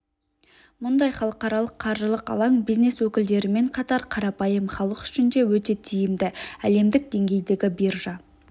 мұндай халықаралық қаржылық алаң бизнес өкілдерімен қатар қарапайым халық үшін де өте тиімді әлемдік деңгейдегі биржа